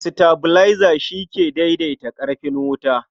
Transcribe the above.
Sitabilaiza shi ke daidaita ƙarfin wuta.